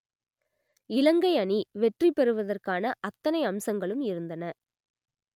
இலங்கை அணி வெற்றி பெறுவதற்கான அத்தனை அம்சங்களும் இருந்தன